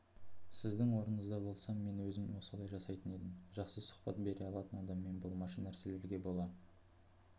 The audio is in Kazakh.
сіздің орныңызда болсам мен өзім солай жасайтын едім жақсы сұхбат бере алатын адаммен болмашы нәрселерге бола